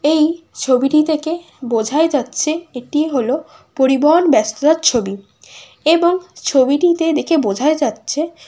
এ-এই ছবিটি দেখে বোঝাই যাচ্ছে এটি হলো পরিবহন ব্যস্ততার ছবি। এবং ছবিটিতে দেখে বোঝাই যাচ্ছে --